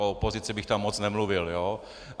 O opozici bych tam moc nemluvil, jo?